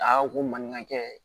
A ko ko maninkakɛ